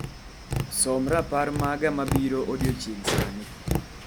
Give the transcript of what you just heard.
Som rapar maga mabiro odiechieng' sani.